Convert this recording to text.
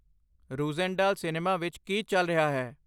ਰੂਜ਼ੈਂਡਾਲ cinema ਵਿੱਚ ਕੀ ਚੱਲ ਰਿਹਾ ਹੈ